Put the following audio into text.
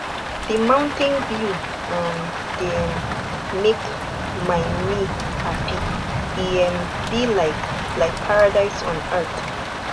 di mountain view um dey um make my me hapi e um be like like paradise on earth